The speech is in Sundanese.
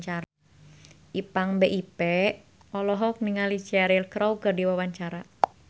Ipank BIP olohok ningali Cheryl Crow keur diwawancara